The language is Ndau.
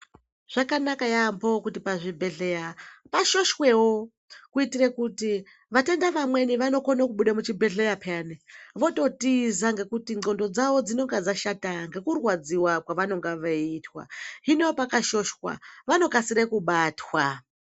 Zvakanaka yaambo kuti pazvibhehleya pashoshwewo kuitire kuti vatenda vamweni vanokone kubuda muchibheleya peyani vototiza ngekuti ndxondo dzavo dzinenge dzashata ngekurwadziwa kwavanenge veiitwa. Hino pakashoshwa, vanokasire kubatwa.